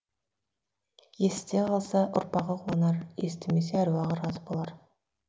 есіте қалса ұрпағы қуанар естімесе әруағы разы болар